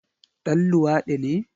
Ɗan luwadi ne?